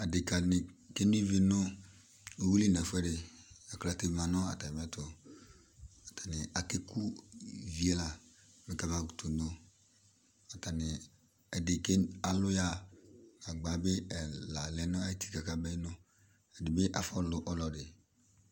Adekani keno ivi nʋ uyuili n'ɛfuɛdi, aklate ma n'atamiɛtʋ, atani ake ku ivi yɛ la mɛ kamakʋtʋ no, atani, ɛdi ke, alʋ yaha, agba bi ɛla lɛ nʋ ɛtika k'ameno, ɛdi bi afʋ ɔlʋ ɔlɔdi